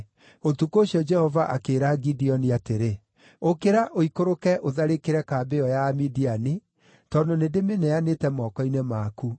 Ũtukũ ũcio Jehova akĩĩra Gideoni atĩrĩ, “Ũkĩra, ũikũrũke ũtharĩkĩre kambĩ ĩyo ya Amidiani, tondũ nĩndĩmĩneanĩte moko-inĩ maku.